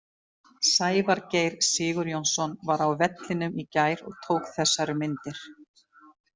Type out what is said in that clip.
Sævar Geir Sigurjónsson var á vellinum í gær og tók þessar myndir.